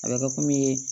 A bɛ kɛ komi